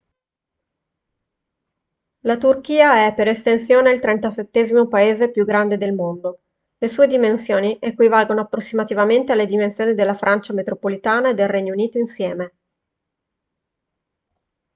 la turchia è per estensione il 37° paese più grande del mondo le sue dimensioni equivalgono approssimativamente alle dimensioni della francia metropolitana e del regno unito insieme